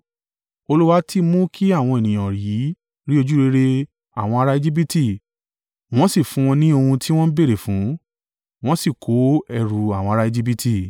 Olúwa ti mú kí àwọn ènìyàn yìí rí ojúrere àwọn ará Ejibiti wọ́n sì fún wọn ní ohun tí wọ́n béèrè fún, wọ́n sì ko ẹrù àwọn ará Ejibiti.